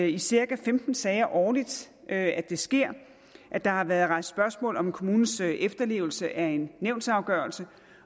i cirka femten sager årligt at det sker at der har været rejst spørgsmål om kommunens efterlevelse af en nævnsafgørelse